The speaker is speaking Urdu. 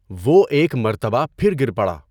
وہ ایک مرتبہ پھر گِر پڑا۔